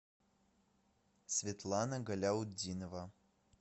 светлана галяутдинова